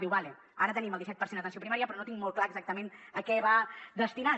diu d’acord ara tenim el disset per cent d’atenció primària però no tinc molt clar exactament a què va destinat